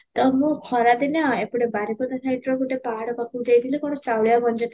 ତ ମୁଁ ଖରା ଦିନିଆ ଏପଟେ ବାରିପଦା ଯାଇଥିବା ଗୋଟେ ପାହାଡ ପାଖକୁ ଯାଇଥିଲି କ'ଣ ଚାଉଳିଆ ମଞ୍ଜି